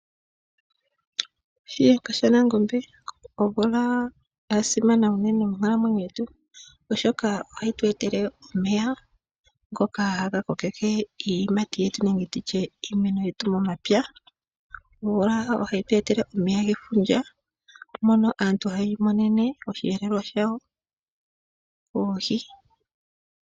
Shiyenga shanangombe, Omvula ya simana unene monkalamwenyo yetu oshoka ohayi tu etele omeya ngoka haga kokeke iiyimati yetu nenge nditye iimeno yetu momapya , omvula ohayi tu etele omeya gefundja mono aantu haya imonene oshiyelelwa shawo, oohi.